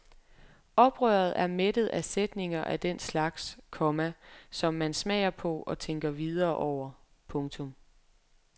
Oprøret er mættet af sætninger af den slags, komma som man smager på og tænker videre over. punktum